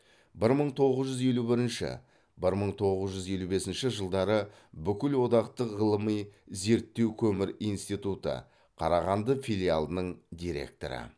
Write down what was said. бір мың тоғыз жүз елу бірінші бір мың тоғыз жүз елу бесінші жылдары бүкілодақтық ғылыми зерттеу көмір институты қарағанды филиалының директоры